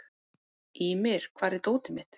Ýmir, hvar er dótið mitt?